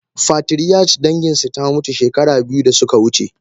Fatriarch danginsu ta mutu shekara biyu da suka wuce.